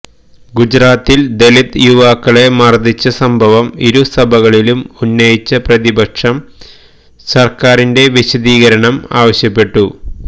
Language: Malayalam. ഗുജറാത്തില് ദളിത് യുവാക്കളെ മര്ദ്ദിച്ച സംഭവം ഇരുസഭകളിലും ഉന്നയിച്ച പ്രതിപക്ഷം സര്ക്കാരിന്റെ വിശദീകരണം ആവശ്യപ്പെട്ടു